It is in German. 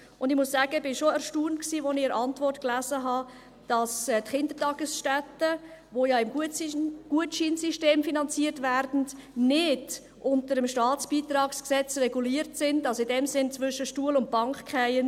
Und ich muss sagen, ich war schon erstaunt, als ich in der Antwort las, dass die Kindertagesstätten, die ja im Gutscheinsystem finanziert werden, nicht unter dem Staatsbeitragsgesetz (StBG) reguliert sind, also in dem Sinn zwischen Stuhl und Bank fallen.